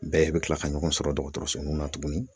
Bɛɛ bɛ kila ka ɲɔgɔn sɔrɔ dɔgɔtɔrɔsoninw na tuguni.